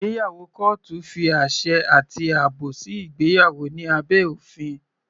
Ìgbéyàwó kọ́ọ́tù fi àṣẹ àti àbò sí ìgbéyàwó ní abẹ́ òfin.